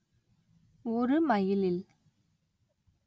ஒரு மைலில்